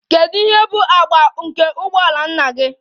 Kedu ihe bụ agba nke ụgbọ ala nna gị?